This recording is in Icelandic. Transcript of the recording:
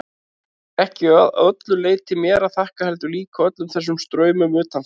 Það er ekki að öllu leyti mér að þakka, heldur líka öllum þessum straumum utanfrá.